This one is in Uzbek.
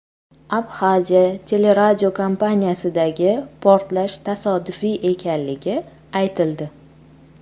Abxaziya teleradiokompaniyasidagi portlash tasodifiy ekanligi aytildi.